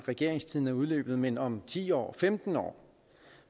regeringstiden er udløbet men om ti år femten år